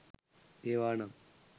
ඒවා නම්